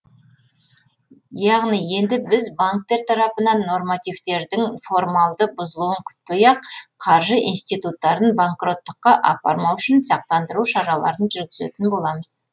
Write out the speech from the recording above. яғни енді біз банктер тарапынан нормативтердің формалды бұзылуын күтпей ақ қаржы инстиуттарын банкроттыққа апармау үшін сақтандыру шараларын жүргізетін боламыз